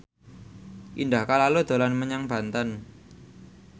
Indah Kalalo dolan menyang Banten